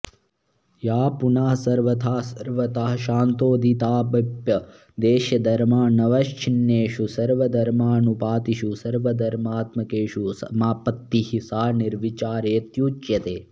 या पुनः सर्वथा सर्वतःशान्तोदिताव्यपदेश्यधर्मानवच्छिन्नेषु सर्वधर्मानुपातिषु सर्वधर्मात्मकेषु समापत्तिः सा निर्विचारेत्युच्यते